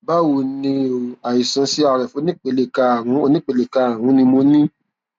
báwo ni o àìsàn crf onípele karùnún onípele karùnún ni mo ní